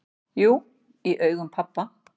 """Jú, í augum pabba"""